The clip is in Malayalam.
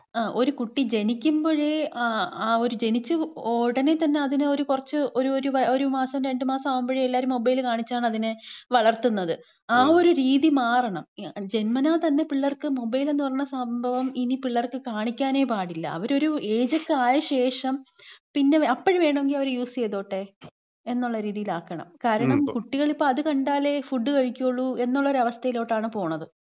ഇപ്പം ഒരു കുട്ടി ജനിക്കുമ്പഴേ, ആ ഒരു ജനിച്ച് ഉടനെ തന്നെ, ആ ഒരു കുറച്ച് ഒരു ഒരുമാസം രണ്ട് മാസം ആവുമ്പഴേ എല്ലാരും മൊബൈൽ കാണിച്ചാണ് അതിനെ വളർത്തുന്നത്, ആ ഒരു രീതി മാറണം. ജന്മനാ തന്നെ പിള്ളേർക്ക് മൊബൈൽ എന്ന് പറയണ സംഭവം ഇനി പിള്ളേർക്ക് കാണിക്കാനേ പാടില്ല. അവരൊരു ഏജൊക്കെ ആയ ശേഷം പിന്നെ അപ്പഴ് വേണേല് അവര് യൂസ് ചെയ്തോട്ടെ എന്നുള്ള രീതീല് ആക്കണം. കാരണം കുട്ടികളിപ്പം അത് കണ്ടാലേ ഫുഡ് കഴിക്കൂള്ളൂ എന്നുള്ളൊരു അവസ്ഥേലോട്ടാണ് പോണത്.